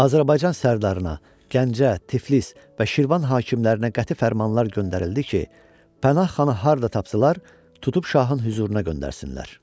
Azərbaycan Sərdarına, Gəncə, Tiflis və Şirvan hakimlərinə qəti fərmanlar göndərildi ki, Pənah xanı harda tapdılar, tutub şahın hüzuruna göndərsinlər.